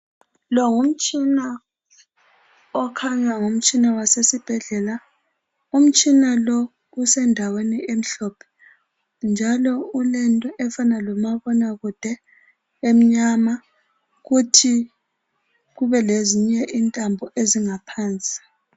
Lo ngumtshina okhanya ngumtshina wasesibhedlela umtshina lo usendawweni emhlophe njalo ulento efana lomabonakude emnyama kuthi kube lezinye intambo ezingaphansi